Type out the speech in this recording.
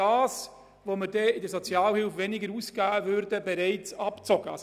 Was wir in der Sozialhilfe ausgeben würden, ist bereits abgezogen.